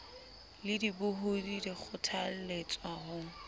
le dibohodi di kgothaletswa ho